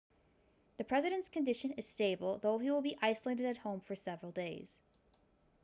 the president's condition is stable though he will be isolated at home for several days